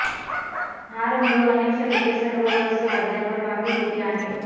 हा रंग अनेक शतके सर्व रहस्यवाद्यांवर बाकी होते आहे